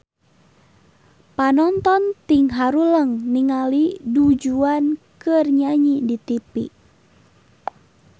Panonton ting haruleng ningali Du Juan keur nyanyi di tipi